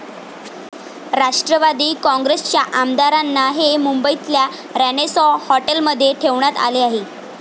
राष्ट्रवादी काँग्रेसच्या आमदारांना हे मुंबईतल्या रेनेसाँ हॉटेलमध्ये ठेवण्यात आले आहे.